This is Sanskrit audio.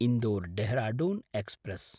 इन्दोर्–ढेहराढून एक्स्प्रेस्